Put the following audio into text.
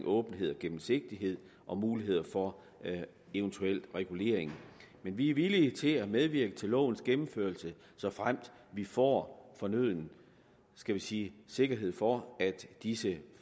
åbenhed og gennemsigtighed og muligheder for en eventuel regulering men vi er villige til at medvirke til lovens gennemførelse såfremt vi får fornøden skal vi sige sikkerhed for at disse